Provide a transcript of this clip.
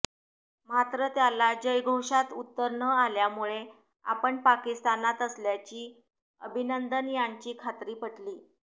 मात्र त्याला जयघोषात उत्तर न आल्यामुळे आपण पाकिस्तानात असल्याची अभिनंदन यांची खात्री पटली